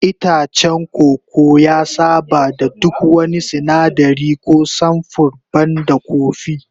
Itacen koko ya saba da duk wani sinadari ko samfur banda kofi